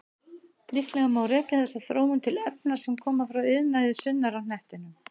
Líklega má rekja þessa þróun til efna sem koma frá iðnaði sunnar á hnettinum.